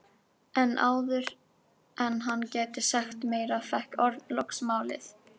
En áður en hann gæti sagt meira fékk Örn loks málið.